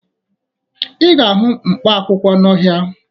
Ị ga-ahụ mkpaakwụkwọ n'ọhịa